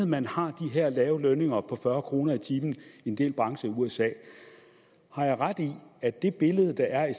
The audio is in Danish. man har de her lave lønninger på fyrre kroner i timen i en del brancher i usa har jeg ret i at det billede der er af